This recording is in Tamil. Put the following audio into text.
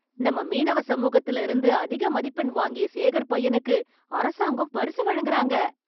நம்ம மீனவ சமூகத்துல இருந்து அதிக மதிப்பெண் வாங்கிய சேகர் பையனுக்கு அரசாங்கம் பரிசு வழங்குறாங்க.